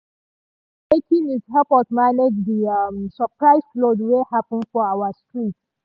one um breaking news help us manage di um surprise flood wey happen for our street.